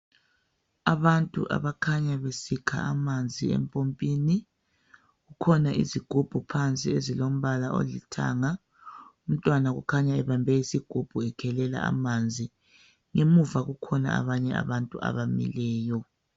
Abantu abakhanya besikha amanzi empompini kukhona izigubhu phansi ezilombala olithanga umntwana ukhanya ebambe isigubhu ekhelela amanzi emuva kukhona abanye abantu abamileyo